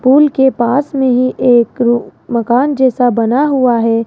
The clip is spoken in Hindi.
पुल के पास में ही एक मकान जैसा बना हुआ है।